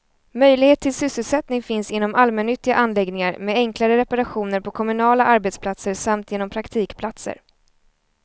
Möjlighet till sysselsättning finns inom allmännyttiga anläggningar, med enklare reparationer på kommunala arbetsplatser samt genom praktikplatser.